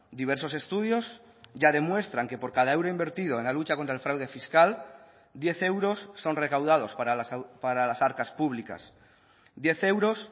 diversos estudios ya demuestran que por cada euro invertido en la lucha contra el fraude fiscal diez euros son recaudados para las arcas públicas diez euros